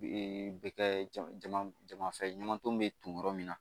bɛ kɛ jama jama jama fɛn ɲaman ton bɛ ton yɔrɔ min na